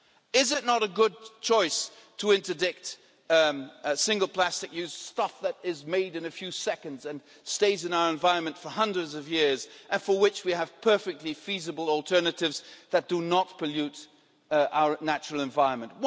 Is it not a good choice to interdict single plastic use, stuff that is made in a few seconds and stays in our environment for hundreds of years, and for which we have perfectly feasible alternatives that do not pollute our natural environment?